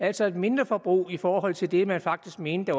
altså et mindreforbrug i forhold til det man faktisk mente